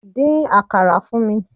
Dín àkàrà fún mi!